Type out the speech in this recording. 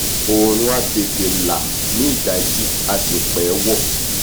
òòrùn á tètè là ní dàájí á sì pẹ́ wọ̀